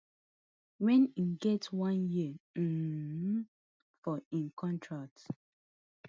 wen e get just one year um for im contract